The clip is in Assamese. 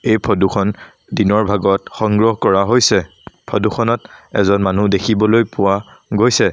এই ফটো খন দিনৰ ভাগত সংগ্ৰহ কৰা হৈছে ফটো খনত এজন মানুহ দেখিবলৈ পোৱা গৈছে।